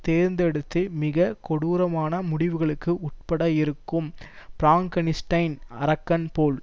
தேர்ந்தெடுத்து மிக கொடூரமான முடிவுகளுக்கு உட்பட இருக்கும் பிராங்கனிஸ்டைன் அரக்கன் போல்